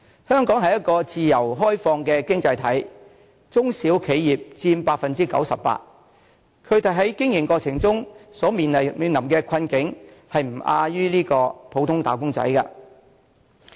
香港是一個自由開放的經濟體，中小企業佔全港企業總數的 98%， 但它們在經營過程中所面臨的困境，卻不亞於普通"打工仔"。